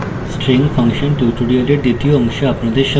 string function tutorial দ্বিতীয় অংশে আপনাদের স্বাগত